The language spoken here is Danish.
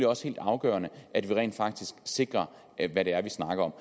også helt afgørende at vi rent faktisk sikrer hvad det er vi snakker om